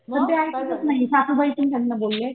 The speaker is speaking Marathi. तर ते ऐकतच नाही सासूबाई पण त्यांना बोलल्या